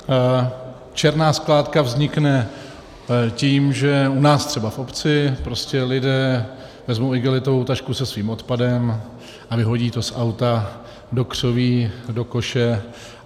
Černá skládka vznikne tím, že u nás třeba v obci prostě lidé vezmou igelitovou tašku se svým odpadem a vyhodí to z auta do křoví, do koše.